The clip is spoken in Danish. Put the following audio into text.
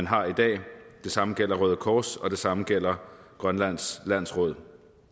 har i dag det samme gælder røde kors og det samme gælder grønlands landsråd